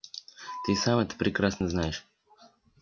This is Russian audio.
ты и сам это прекрасно знаешь